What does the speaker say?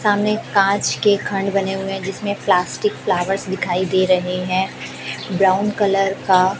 सामने एक काँच की खंड बने हुए है जिसमे प्लास्टिक फ्लॉवर्स दिखाई दे रहे हैं ब्राउन कलर का।